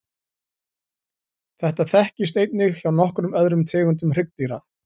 Þetta þekkist einnig hjá nokkrum öðrum tegundum hryggdýra.